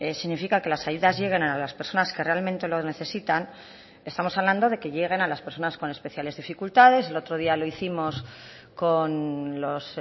significa que las ayudas lleguen a las personas que realmente lo necesitan estamos hablando de que lleguen a las personas con especiales dificultades el otro día lo hicimos con los